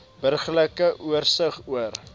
burgerlike oorsig oor